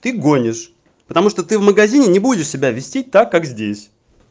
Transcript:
ты гонишь потому что ты в магазине будешь себя вести так как здесь